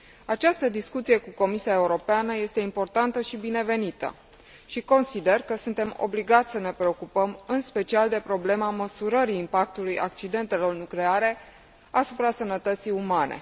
Această discuție cu Comisia Europeană este importantă și binevenită și consider că suntem obligați să ne preocupăm în special de problema măsurării impactului accidentelor nucleare asupra sănătății umane.